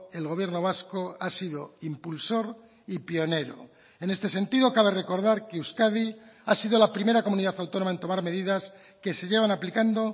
el gobierno vasco ha sido impulsor y pionero en este sentido cabe recordar que euskadi ha sido la primera comunidad autónoma en tomar medidas que se llevan aplicando